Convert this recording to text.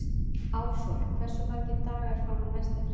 Ársól, hversu margir dagar fram að næsta fríi?